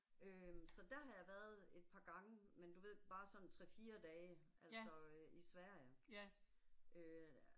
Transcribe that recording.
Øh så der har jeg været et par gange men du ved bare sådan 3 4 dage altså øh i Sverige. Øh